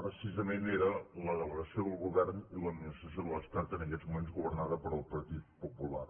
precisament era la delegació del govern i l’administració de l’estat en aquests moments governada pel partit popular